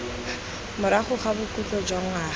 morago ga bokhutlo jwa ngwaga